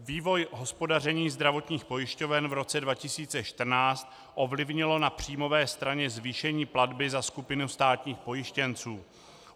Vývoj hospodaření zdravotních pojišťoven v roce 2014 ovlivnilo na příjmové straně zvýšení platby za skupinu státních pojištěnců.